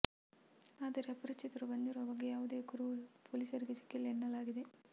ಆದರೆ ಅಪರಿಚಿತರು ಬಂದಿರುವ ಬಗ್ಗೆ ಯಾವುದೇ ಕುರುಹು ಪೊಲೀಸರಿಗೆ ಸಿಕ್ಕಿಲ್ಲ ಎನ್ನಲಾಗಿದೆ